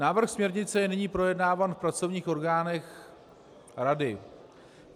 Návrh směrnice je nyní projednáván v pracovních orgánech rady.